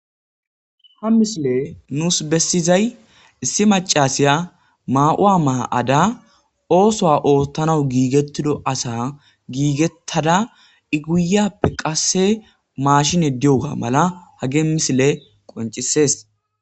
ha misile nuus bessizay issi macasiya ma7uwa maha7ada oosoa oottanawu giigettido asa giigettada iguyappe qasse maashine diyoga mala hage misile qoncisees